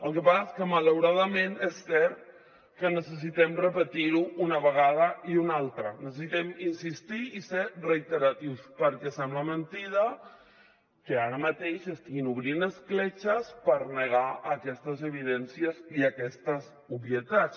el que passa és que malauradament és cert que necessitem repetir ho una vegada i una altra necessitem insistir i ser reiteratius perquè sembla mentida que ara mateix s’estiguin obrint escletxes per negar aquestes evidències i aquestes obvietats